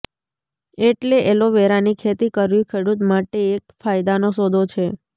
એટલે એલોવેરાની ખેતી કરવી ખેડૂત માટે એક ફાયદાનો સોદો છે